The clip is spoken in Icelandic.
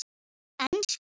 Talaðu ensku!